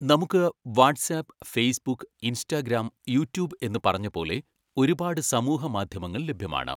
നമുക്ക് WhatsApp, Facebook, Instagram, YouTube എന്ന് പറഞ്ഞ പോലെ ഒരുപാട് സമൂഹമാധ്യമങ്ങൾ ലഭ്യമാണ്